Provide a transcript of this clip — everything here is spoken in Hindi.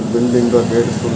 बिल्डिंग का गेट खु--